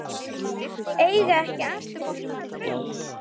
Eiga ekki allir sína drauma?